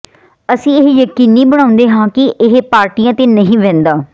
ਅਸੀਂ ਇਹ ਯਕੀਨੀ ਬਣਾਉਂਦੇ ਹਾਂ ਕਿ ਇਹ ਪਾਰਟੀਆਂ ਤੇ ਨਹੀਂ ਵਹਿੰਦਾ